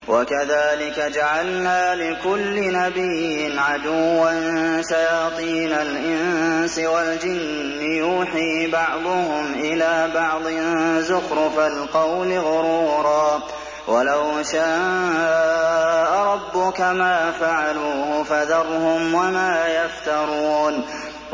وَكَذَٰلِكَ جَعَلْنَا لِكُلِّ نَبِيٍّ عَدُوًّا شَيَاطِينَ الْإِنسِ وَالْجِنِّ يُوحِي بَعْضُهُمْ إِلَىٰ بَعْضٍ زُخْرُفَ الْقَوْلِ غُرُورًا ۚ وَلَوْ شَاءَ رَبُّكَ مَا فَعَلُوهُ ۖ فَذَرْهُمْ وَمَا يَفْتَرُونَ